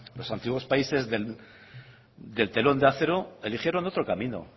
los antiguos países del telón de acero eligieron otro camino